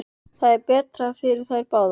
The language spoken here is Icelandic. Það er betra fyrir þær báðar.